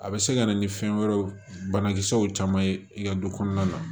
A bɛ se ka na ni fɛn wɛrɛw banakisɛw caman ye i ka du kɔnɔna na